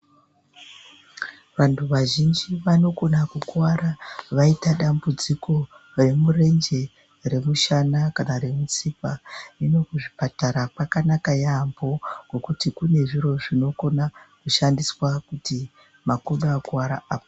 Vantu vazhinji vanogona kukuvara vaita dambudziko remurenje, remushana kana remutsipa hino kuzvipatara kwakanaka yaamho ngekuti kune zviro zvinokona kushandiswa kuti makodo akuvara apore.